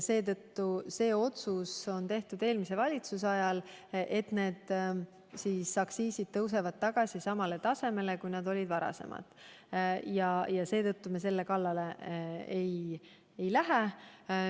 See otsus, et aktsiisid tõusevad tagasi samale tasemele, kui need olid varem, on tehtud eelmise valitsuse ajal ja me selle kallale ei lähe.